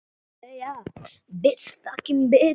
Hver er þessi bær?